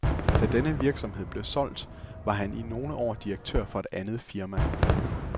Da denne virksomhed blev solgt, var han i nogle år direktør for et andet firma.